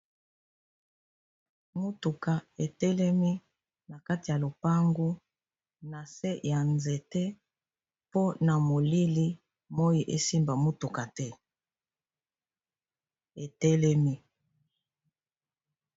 Motuka etelemi na kati ya lopango na se ya nzete mpo na molili moi esimba motuka te etelemi